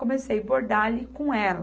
Comecei bordar ali com ela.